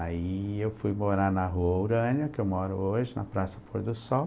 Aí, eu fui morar na Rua Urânia, que eu moro hoje, na Praça Flor do Sol.